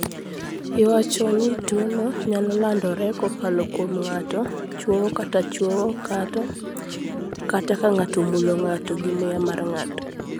Iwacho ni tuwono nyalo landore kokalo kuom ng'ato chwoyo kata chwowo ng'ato, kata ka ng'ato omulo ng'ato gi muya mar ng'ato.